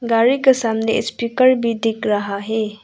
गाड़ी के सामने स्पीकर भी दिख रहा है।